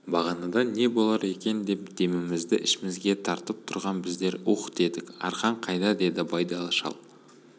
бағанадан не болар екен деп демімізді ішімізге тартып тұрған біздер уһ дедік арқан қайда деді байдалы шал